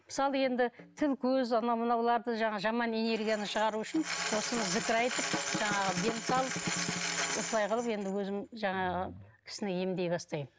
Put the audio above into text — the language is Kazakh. мысалы енді тіл көз анау мынауларды жаңағы жаман энергияны шығару үшін осыны зікір айтып жаңағы дем салып осылай қылып енді өзім жаңағы кісіні емдей бастаймын